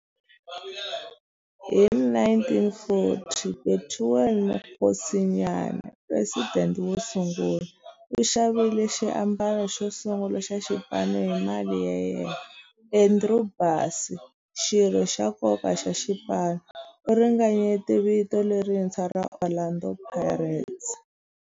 Hi 1940, Bethuel Mokgosinyane, president wosungula, u xavile xiambalo xosungula xa xipano hi mali ya yena. Andrew Bassie, xirho xa nkoka xa xipano, u ringanyete vito lerintshwa ra 'Orlando Pirates'.